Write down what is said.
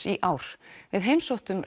í ár við heimsóttum